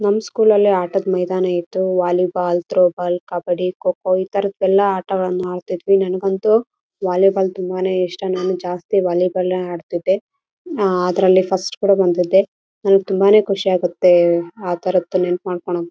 ಎಲ್ಲಾ ಕಡೆ ಈ ಕಡೆ ಹೋಗೋರೆಲ್ಲ ಆಟ ನೋಡಿಕೊಂಡು ಓಡಾಡಿಕೊಂಡು ಹೋಗ್ತಾರೆ.